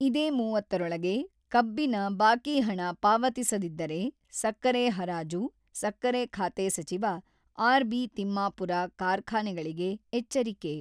ಇದೇ ಮುವತ್ತ ರೊಳಗೆ ಕಬ್ಬಿನ ಬಾಕಿಹಣ ಪಾವತಿಸಿದಿದ್ದರೆ, ಸಕ್ಕರೆ ಹರಾಜು: ಸಕ್ಕರೆ ಖಾತೆ ಸಚಿವ ಆರ್‌.ಬಿ ತಿಮ್ಮಾಪೂರ ಕಾರ್ಖಾನೆಗಳಿಗೆ ಎಚ್ಚರಿಕೆ.